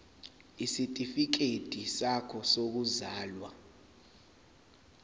isitifikedi sakho sokuzalwa